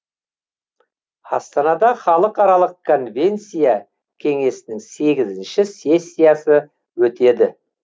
астанада халықаралық конвенция кеңесінің сегізінші сессиясы өтеді